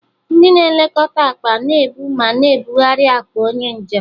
Ndị na-elekọta akpa na-ebu ma na-ebugharị akpa onye njem